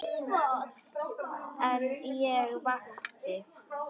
En ég vakti.